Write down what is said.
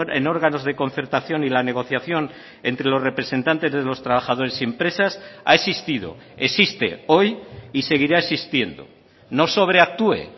en órganos de concertación y la negociación entre los representantes de los trabajadores y empresas ha existido existe hoy y seguirá existiendo no sobreactúe